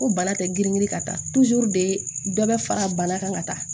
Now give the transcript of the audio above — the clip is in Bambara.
Ko bana tɛ girin girin ka taa de dɔ bɛ fara bana kan ka taa